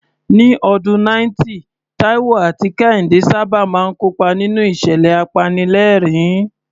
Ní ọdún 90, Taiwo àti Kehinde sábà máa ń kópa nínú ìṣẹ̀lẹ̀ apanilẹ́rìn-ín.